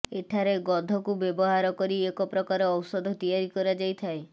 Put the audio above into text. ଏଠାରେ ଗଧକୁ ବ୍ୟବହାର କରି ଏକ ପ୍ରକାର ଔଷଧ ତିଆରି କରାଯାଇଥାଏ